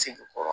Segin kɔrɔ